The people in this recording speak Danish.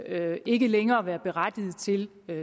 af ikke længere at være berettiget til